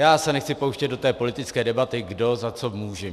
Já se nechci pouštět do té politické debaty, kdo za co může.